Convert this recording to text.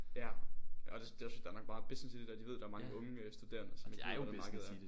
Ja og det os nok fordi der er meget business i det der de ved der er mange unge øh studerende som ikke ved hvordan markedet er